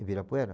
Ibirapuera?